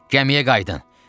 Gəmiyə qayıdın.